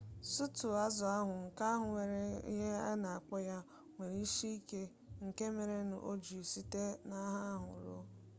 suutu uwe azụmaahịa izugbe ma ndị ọrụ ibe na-akpọ onye ọ bụla site n'aha ezinụlọ ha ma ọ bụ site n'aha ọrụ ha